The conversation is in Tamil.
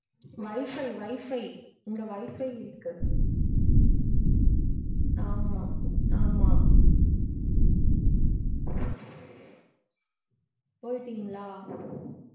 Wifi wifi இங்க wifi இருக்கு . ஆமா ஆமா போய்ட்டீங்களா?